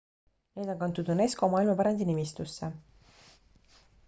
need on kantud unesco maailmapärandi nimistusse